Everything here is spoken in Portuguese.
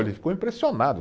Ele ficou impressionado.